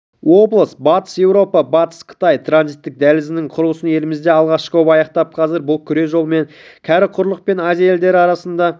облыс батыс еуропа-батыс қытай транзиттік дәлізінің құрылысын елімізде алғашқы боп аяқтап қазір бұл күре жолмен кәрі құрлық пен азия елдері арасында